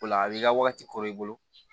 O la a b'i ka wagati kor'i bolo